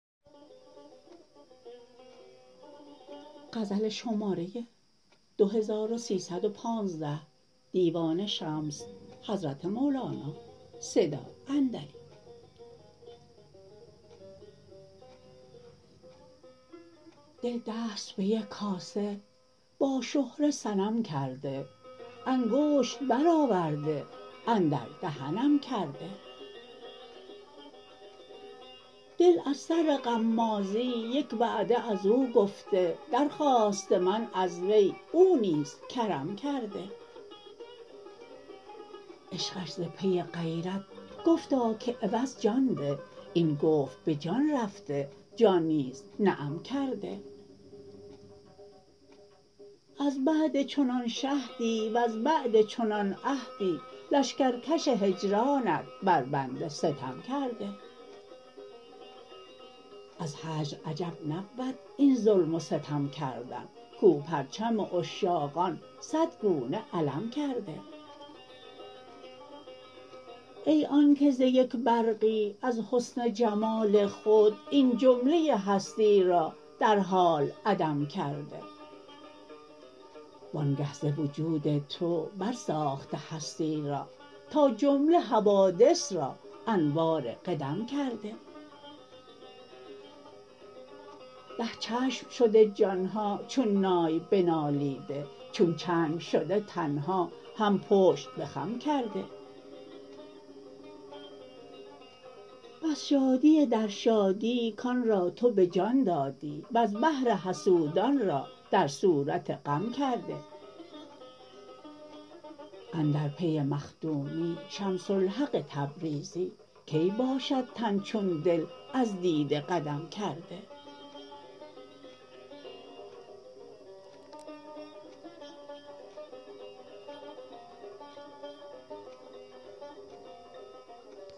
دل دست به یک کاسه با شهره صنم کرده انگشت برآورده اندر دهنم کرده دل از سر غمازی یک وعده از او گفته درخواسته من از وی او نیز کرم کرده عشقش ز پی غیرت گفتا که عوض جان ده این گفت به جان رفته جان نیز نعم کرده از بعد چنان شهدی وز بعد چنان عهدی لشکرکش هجرانت بر بنده ستم کرده از هجر عجب نبود این ظلم و ستم کردن کو پرچم عشاقان صد گونه علم کرده ای آنک ز یک برقی از حسن جمال خود این جمله هستی را در حال عدم کرده وآنگه ز وجود تو برساخته هستی را تا جمله حوادث را انوار قدم کرده ده چشم شده جان ها چون نای بنالیده چون چنگ شده تن ها هم پشت به خم کرده بس شادی در شادی کان را تو به جان دادی وز بهر حسودان را در صورت غم کرده اندر پی مخدومی شمس الحق تبریزی کی باشد تن چون دل از دیده قدم کرده